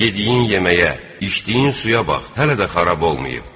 Yediyin yeməyə, içdiyin suya bax, hələ də xarab olmayıb.